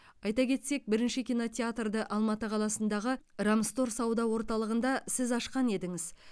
айта кетсек бірінші кинотеатрды алматы қаласындағы рамстор сауда орталығында сіз ашқан едіңіз